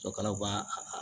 Sɔkalaw b'a